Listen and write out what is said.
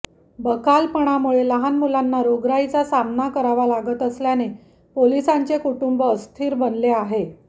बकालपणामुळे लहान मुलांना रोगराईचा सामना करावा लागत असल्याने पोलिसांचे कुटुंब अस्थिर बनले आहे